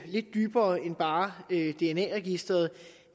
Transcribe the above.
lidt dybere end bare et dna register